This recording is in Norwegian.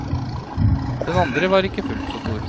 Den andre var ikke fullt så stor.